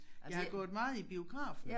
Jeg har gået meget i biografen